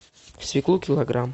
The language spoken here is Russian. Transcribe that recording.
свеклу килограмм